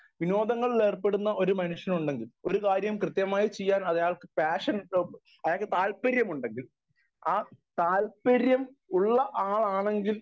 speaker 1 വിനോദങ്ങളിൽ ഏർപ്പെടുന്ന ഒരു മനുഷ്യൻ ഉണ്ടെങ്കിൽ ഒരു കാര്യം കൃത്യമായി ചെയ്യാൻ അയാൾക്ക്‌ പാഷനുണ്ടാകും അയാൾക്ക് താല്പര്യമുണ്ടെങ്കിൽ ആ താല്പര്യം ഉള്ള ആളാണെങ്കിൽ